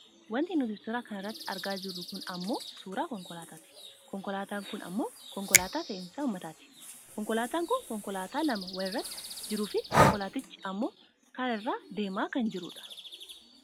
Wanti nuti suuraa kana irratti argaa jirru kun ammoo suuraa konkolaataati. Konkolaataan kun ammoo konkolaataa fe'isa uummataati. Konkolaataan kun konkolaataa lama wal irratti jiruufi konkolaatichi ammoo karaa irra deemaa kan jirudha.